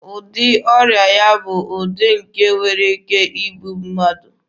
Ụdị ọrịa ya a bụ ụdị nke nwere ike igbu mmadụ.